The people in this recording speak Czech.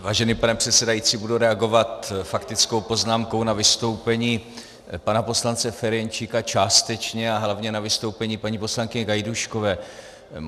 Vážený pane předsedající, budu reagovat faktickou poznámkou na vystoupení pana poslance Ferjenčíka částečně a hlavně na vystoupení paní poslankyně Gajdůškové.